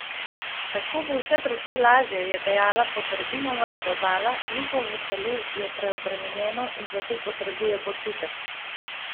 Tako bo vse precej lažje,' je dejala Poterbinova in dodala: 'Lukovo telo je preobremenjeno in zato potrebuje počitek.